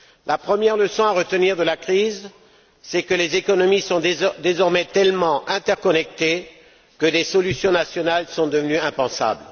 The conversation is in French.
La première leçon à retenir de la crise, c'est que les économies sont désormais tellement interconnectées que des solutions nationales sont devenues impensables.